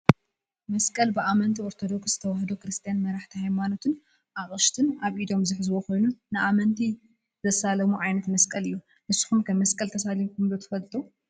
መስቀል ብኣመንቲ ኦርቶዶክስ ተዋህዶ ክርስትያን መራሕቲ ሃይማኖት ኣቅሽሽቲ ኣብ ኢዶም ዝሕዝዎ ኮይኑ ንኣመንቲ ዘሳልሙሉ ዓይነት መስቀል እዩ። ንስኩም ከ መስቀል ተሳሊምኩም ዶ ትፈልጡ?